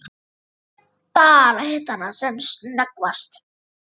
Ég hef bara hitt hana sem snöggvast.